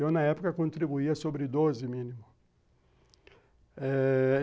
Eu, na época, contribuía sobre doze mínimo.